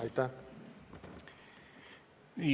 Aitäh!